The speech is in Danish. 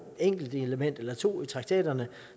enkelt element eller to i traktaterne